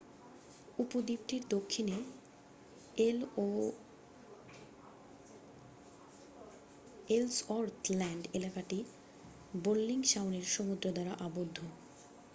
উপদ্বীপটির দক্ষিণে Ellsworth Land এলাকাটি Bellingshausen সমুদ্র দ্বারা আবদ্ধ